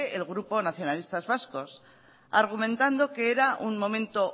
el grupo nacionalistas vascos argumentando que era un momento